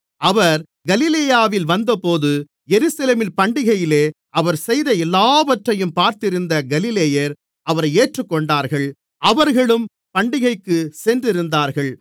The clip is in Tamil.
அவர் கலிலேயாவில் வந்தபோது எருசலேமில் பண்டிகையிலே அவர் செய்த எல்லாவற்றையும் பார்த்திருந்த கலிலேயர் அவரை ஏற்றுக்கொண்டார்கள் அவர்களும் பண்டிகைக்குச் சென்றிருந்தார்கள்